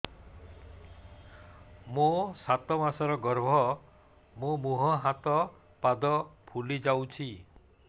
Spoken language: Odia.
ମୋ ସାତ ମାସର ଗର୍ଭ ମୋ ମୁହଁ ହାତ ପାଦ ଫୁଲି ଯାଉଛି